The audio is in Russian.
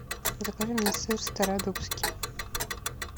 закажи мне сыр стародубский